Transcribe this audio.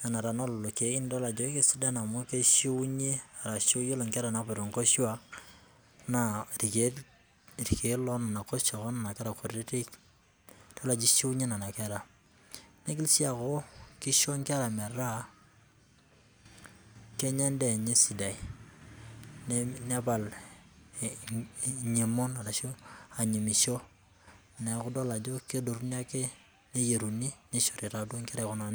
tana e lelo keek nidol ajo keisidan oleng' amu keishuunye arashu iyiolo inkera napuoita inkoshua naa ilkeek onana oshua o nena kera kutitik idol ajo eishuunye nena kera, neigil sii aaku eisho nena kera aaku kenya eendaa enye sidai nepal enyemon arashu anyimisho neaku idol ake ajo kedotuni ake neyieruni neishori taa ikera kuna kutitik.